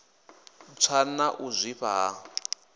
tswa na u zwifha ha